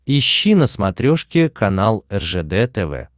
ищи на смотрешке канал ржд тв